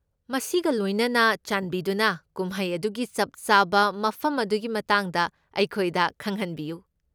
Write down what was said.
ꯃꯁꯤꯒ ꯂꯣꯏꯅꯅ, ꯆꯥꯟꯕꯤꯗꯨꯅ ꯀꯨꯝꯍꯩ ꯑꯗꯨꯒꯤ ꯆꯞ ꯆꯥꯕ ꯃꯐꯝ ꯑꯗꯨꯒꯤ ꯃꯇꯥꯡꯗ ꯑꯩꯈꯣꯏꯗ ꯈꯪꯍꯟꯕꯤꯌꯨ꯫